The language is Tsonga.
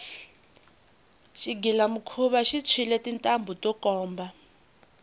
xigilamikhuva xi tshwile tintambhu to komba